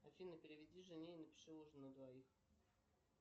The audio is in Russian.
афина переведи жене и напиши ужин на двоих